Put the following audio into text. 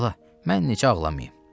Bala, mən necə ağlamayım?